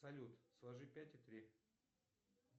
салют сложи пять и три